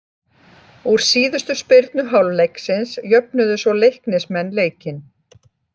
Úr síðustu spyrnu hálfleiksins jöfnuðu svo Leiknismenn leikinn.